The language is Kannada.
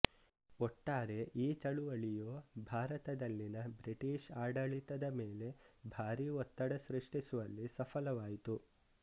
ಒಟ್ಟಾರೆ ಈ ಚಳುವಳಿಯು ಭಾರತದಲ್ಲಿನ ಬ್ರಿಟಿಷ್ ಆಡಳಿತದ ಮೇಲೆ ಭಾರೀ ಒತ್ತಡ ಸೃಷ್ಟಿಸುವಲ್ಲಿ ಸಫಲವಾಯಿತು